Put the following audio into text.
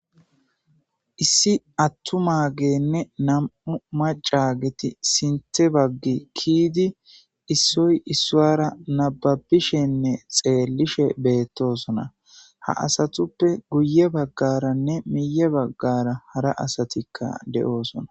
Issi attu maagenne nam'u maca geti sinthe baggi kiidi issoy issoara nababishenne xeellishe beettosona ha asatuppe guye baggaranne miye baggara hara asatikka de'oosona.